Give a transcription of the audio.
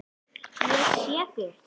Ég sé þig ekki.